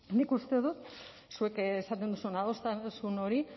nik uste dut zuek esaten duzuen adostasun hori